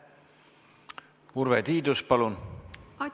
Urve Tiidus, palun!